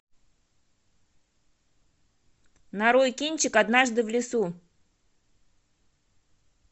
нарой кинчик однажды в лесу